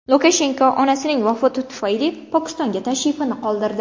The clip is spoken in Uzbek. Lukashenko onasining vafoti tufayli Pokistonga tashrifini qoldirdi.